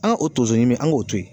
An ka o tonso ɲimi an k'o to yen.